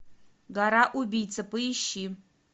гора убийца поищи